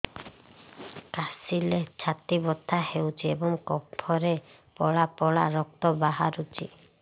କାଶିଲେ ଛାତି ବଥା ହେଉଛି ଏବଂ କଫରେ ପଳା ପଳା ରକ୍ତ ବାହାରୁଚି